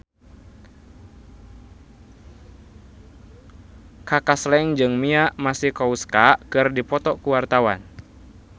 Kaka Slank jeung Mia Masikowska keur dipoto ku wartawan